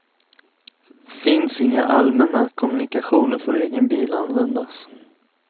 Finns inga allmänna kommunikationer får egen bil användas.